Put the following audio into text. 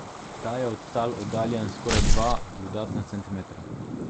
Ta je od tal oddaljen skoraj dva dodatna centimetra.